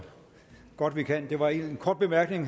godt vi kan jeg var en kort bemærkning